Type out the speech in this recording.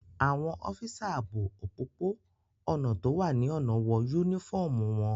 Àwọn ọ́físà ààbò òpópó-ọ̀nà tó wà ní ọ̀nà wọ yúnífọ́ọ̀mù wọn